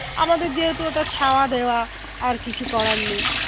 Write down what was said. আমাদের যেহেতু ওটা ছাওয়া দেওয়া আর কিছু করার নেই